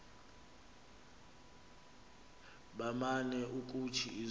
baman ukuthi izinto